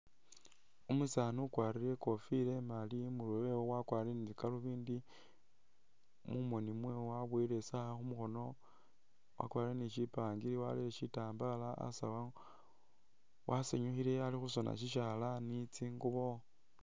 Umusaani ukwarire i'kofila imali imurwe we wakwarire ni galubindi mu moni mwewe waboyile i'sawa khu mukhono, wakwarire ni syipangili warere syitambala asawu, wasanyukhile ali khusona sisyalaani ni tsingubo.